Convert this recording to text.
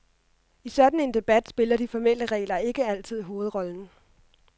I sådan en debat spiller de formelle regler ikke altid hovedrollen.